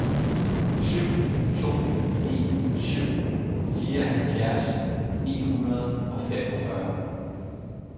syv to ni syv fireoghalvfjerds ni hundrede og femogfyrre